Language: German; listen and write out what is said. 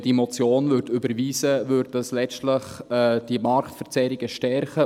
Würde diese Motion überwiesen, würden dadurch letztlich diese Marktverzerrungen verstärkt.